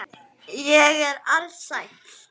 Lengi býr að fyrstu gerð.